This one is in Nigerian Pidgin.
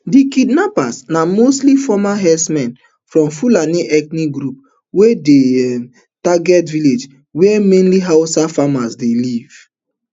di kidnappers na mostly former herdsmen from fulani ethnic group wey dey um target villages wey mainly hausa farmers dey live